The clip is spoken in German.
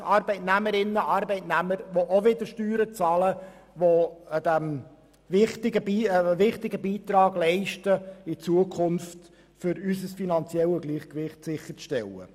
Das sind Arbeitsplätze für Arbeitnehmerinnen und Arbeitnehmer, die auch wieder Steuern bezahlen und damit einen wichtigen Beitrag leisten, in Zukunft unser finanzielles Gleichgewicht sicherzustellen.